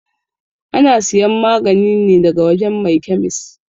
Ana siyan magani ne daga wajan mai kyamis